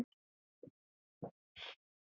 Segðu okkur frá sjálfum þér.